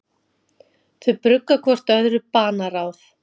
Þau brugga hvort öðru banaráð.